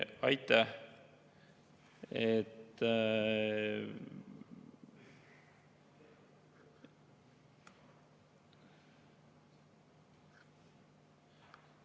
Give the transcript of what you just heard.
Aitäh!